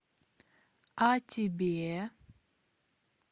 а тебе